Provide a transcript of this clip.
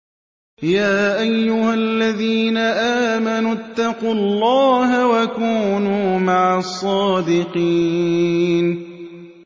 يَا أَيُّهَا الَّذِينَ آمَنُوا اتَّقُوا اللَّهَ وَكُونُوا مَعَ الصَّادِقِينَ